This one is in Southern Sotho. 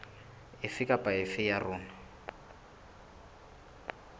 efe kapa efe ya yona